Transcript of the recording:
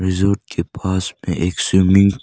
झूठ के पास में एक स्विमिंग --